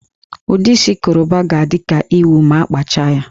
Ụdị isi Koroba ga-adị ka ịwụ ma a kpachaa ya